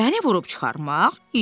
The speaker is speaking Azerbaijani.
Məni vurub çıxarmaq?